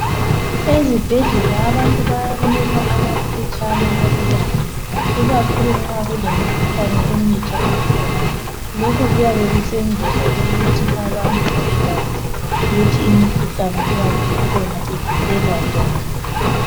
Ezibhedlela abantu bayanikwa amaphetshana okubala ikakhulu nxa kulemkhuhlane emitsha ekhona. Lokhu kuyabe kusenzelwa ukuthi abantu babekwazi ukuthi imikhuhlane eyabe ikhona ivikelwa njani.